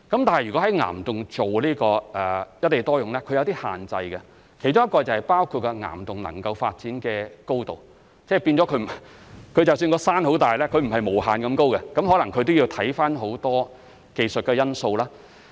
但是，如果在岩洞做"一地多用"，是有些限制的，其中包括岩洞能夠發展的高度，即使山很大也不可能是無限高，可能要看看很多技術的因素。